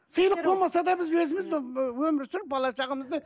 сыйлық болмаса да біз өзіміз ііі өмір сүріп бала шағамызды